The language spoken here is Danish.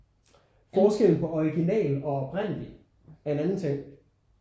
Forskellen på original og oprindelig er en anden ting